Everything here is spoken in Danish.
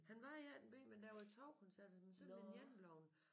Han var i 18b men der var 2 koncerter men så er den ene bleven